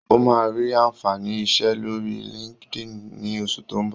Ó máa rí àǹfààní iṣẹ́ lórí LinkedIn ní oṣù tó ń bọ̀.